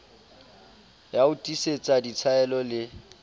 ya ho tiisetsa ditshaeno le